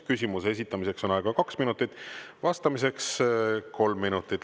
Küsimuse esitamiseks on aega kaks minutit, vastamiseks kolm minutit.